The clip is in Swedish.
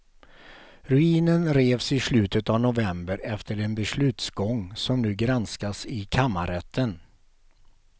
Ruinen revs i slutet av november efter en beslutsgång som nu granskas i kammarrätten.